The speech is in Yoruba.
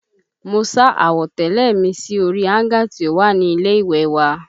Mo sá àwọ̀tẹ́lẹ̀ mi sí orí áńgà tí ó wà ní ilé ìwẹ̀ wa